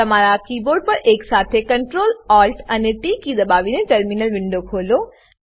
તમારા કીબોર્ડ પર એકસાથે Ctrl Alt અને ટી કી દબાવીને ટર્મિનલ વિન્ડો ખોલો